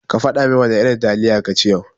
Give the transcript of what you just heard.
Kafada min wana irin taliya kaci yau.